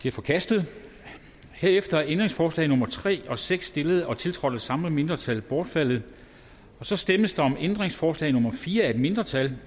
er forkastet herefter er ændringsforslag nummer tre og seks stillet og tiltrådt af de samme mindretal bortfaldet så stemmes der om ændringsforslag nummer fire af et mindretal